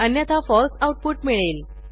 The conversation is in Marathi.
अन्यथा फळसे आऊटपुट मिळेल